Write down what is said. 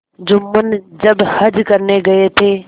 जुम्मन जब हज करने गये थे